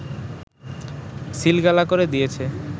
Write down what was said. সিলগালা করে দিয়েছে